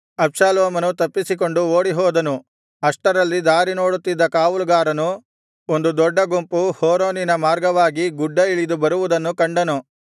ಅಬ್ಷಾಲೋಮನು ತಪ್ಪಿಸಿಕೊಂಡು ಓಡಿಹೋದನು ಅಷ್ಟರಲ್ಲಿ ದಾರಿನೋಡುತ್ತಿದ್ದ ಕಾವಲುಗಾರನು ಒಂದು ದೊಡ್ಡ ಗುಂಪು ಹೋರೋನಿನ ಮಾರ್ಗವಾಗಿ ಗುಡ್ಡ ಇಳಿದು ಬರುವುದನ್ನು ಕಂಡನು